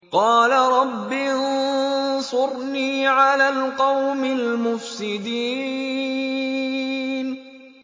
قَالَ رَبِّ انصُرْنِي عَلَى الْقَوْمِ الْمُفْسِدِينَ